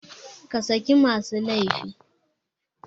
Ka saki masu laifi!